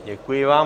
Děkuji vám.